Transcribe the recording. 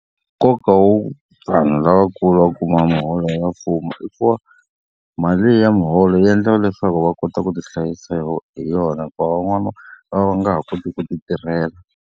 Nkoka wo vanhu lavakulu va kuma miholo ya mfumo i ku va mali leyi ya muholo yi endlaka leswaku va kota ku tihlayisa hi yona hikuva van'wana va va va nga ha koti ku ti tirhela.